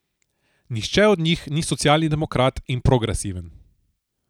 Nihče od njih ni socialni demokrat in progresiven.